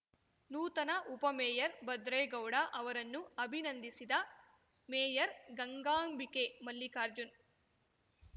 ನೂತನ ಉಪಮೇಯರ್‌ ಭದ್ರೇಗೌಡ ಅವರನ್ನು ಅಭಿನಂದಿಸಿದ ಮೇಯರ್‌ ಗಂಗಾಂಬಿಕೆ ಮಲ್ಲಿಕಾರ್ಜುನ್‌